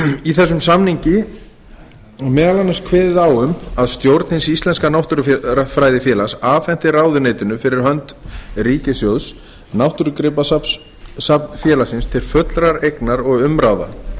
í þessum samningi er meðal annars kveðið á um að stjórn hins íslenska náttúrufræðifélags afhenti ráðuneytinu fh ríkissjóðs náttúrugripasafn félagsins til fullrar eignar og umráða